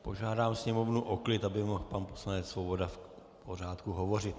Požádám sněmovnu o klid, aby mohl pan poslanec Svoboda v pořádku hovořit.